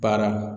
Baara